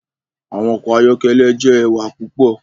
Awọn ọkọ ayọkẹlẹ jẹ ẹwa pupọ